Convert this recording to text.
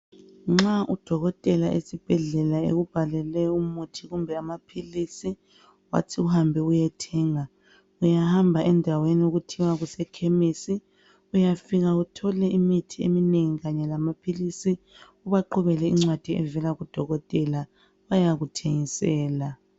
Nxa udokotela esbhedlela ekubhalele umuthi kumbe amaphilisi wathi uhambe uyethenga uyahamba endaweni okuthiwa kusekhemisi uyafika uthole imithi eminengi kanye lamaphilisi ubaqhubele incwadi evela kudokotela bayakuthengisela.